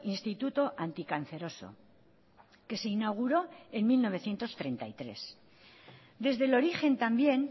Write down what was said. instituto anticanceroso que se inauguró en mil novecientos treinta y tres desde el origen también